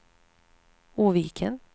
Oviken